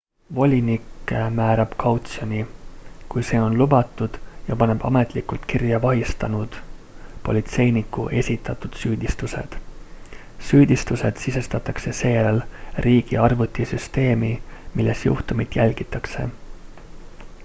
volinik määrab kautsjoni kui see on lubatud ja paneb ametlikult kirja vahistanud politseiniku esitatud süüdistused süüdistused sisestatakse seejärel riigi arvutisüsteemi milles juhtumit jälgitakse